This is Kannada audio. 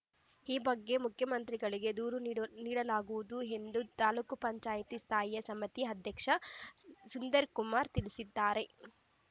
ಈ ಬಗ್ಗೆ ಮುಖ್ಯಮಂತ್ರಿಗಳಿಗೆ ದೂರು ನೀಡಲಾಗುವುದು ಎಂದು ತಾಲೂಕ್ ಪಂಚಾಯತಿ ಸ್ಥಾಯಿ ಸಮಿತಿ ಅಧ್ಯಕ್ಷ ಸುಂದರ್‌ಕುಮಾರ್‌ ತಿಳಿಸಿದ್ದಾರೆ